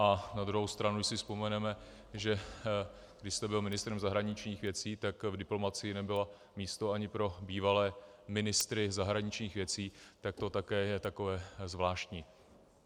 A na druhou stranu si vzpomeneme, že když jste byl ministrem zahraničních věcí, tak v diplomacii nebylo místo ani pro bývalé ministry zahraničních věcí, tak to také je takové zvláštní.